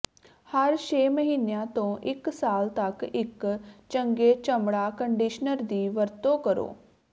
ਹਰ ਛੇ ਮਹੀਨਿਆਂ ਤੋਂ ਇਕ ਸਾਲ ਤੱਕ ਇੱਕ ਚੰਗੇ ਚਮੜਾ ਕੰਡੀਸ਼ਨਰ ਦੀ ਵਰਤੋਂ ਕਰੋ